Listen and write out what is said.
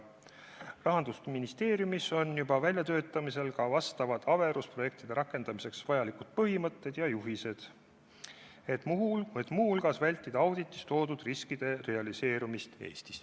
Rahandusministeeriumis on hakatud välja töötama ka averuse rakendamiseks vajalikke põhimõtteid ja juhiseid, et muu hulgas vältida auditis nimetatud riskide realiseerumist Eestis.